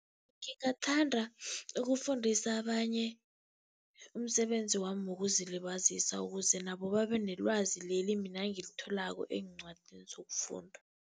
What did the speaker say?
Ngingathanda ukufundisa abanye umsebenzi wami wokuzilibazisa, ukuze nabo babe nelwazi leli mina engilitholako eencwadini zokufunda.